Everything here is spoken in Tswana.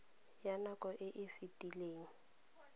ya nako e e fetileng